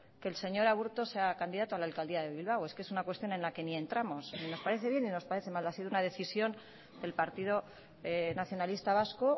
que el señor aburto sea candidato a la alcaldía de bilbao es que es una cuestión en la que ni entramos ni nos parece bien ni nos parece mal ha sido una decisión del partido nacionalista vasco